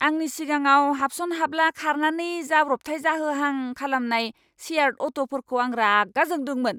आंनि सिगाङाव हाबसन हाब्ला खारनानै जाब्रबथाय जाहोहां खालामनाय शेयार्ड अट'फोरखौ आं रागा जोंदोंमोन!